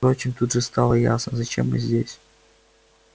впрочем тут же стало ясно зачем мы здесь